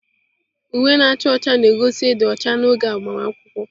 Uwe na-acha ọcha na-egosi ịdị ọcha n'oge agbamakwụkwọ.